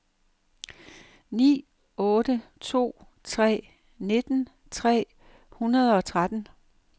ni otte to tre nitten tre hundrede og tretten